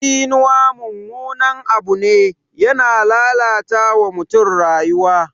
Tsinuwa mummunan abu ne, yana lalata wa mutum rayuwa.